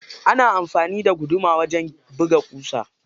Ana anfani da guduma wajan buga kusa.